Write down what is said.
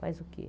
Faz o quê?